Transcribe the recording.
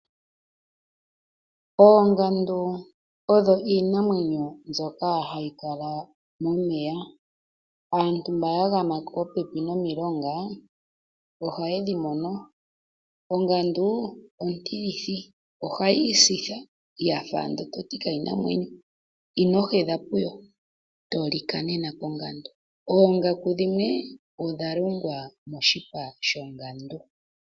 Oongandu odho iinamwenyo mbyoka hayi kala momeya. Aantu mboka yagama popepi nomilonga, ohayedhi mono. Ongandu ontilithi, ohayi isitha, yafa owala toti kayina omwenyo. Inohedha popepi nayo, otolika. Oongaku dhimwe odha longwa moshipa shongandu.